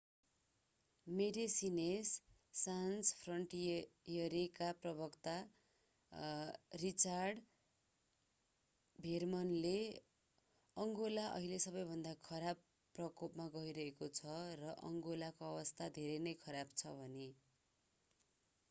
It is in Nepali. मेडेसिनेस् सान्स फ्रन्टियरेका प्रवक्ता रिचार्ड भेर्मनले अङ्गोला अहिले सबैभन्दा खराब प्रकोपमा गइरहेको छ र अङ्गोलाको अवस्था धेरै नै खराब छ भने